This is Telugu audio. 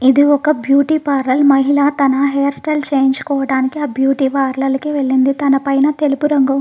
ఇది ఒక బ్యూటీ పార్లర్ మహిళా తన హెయిర్ స్టైల్ చేయించుకోవడానికి ఆ బ్యూటీ పార్లర్ కి వెళ్ళింది తన పైన తెలుపు రంగు--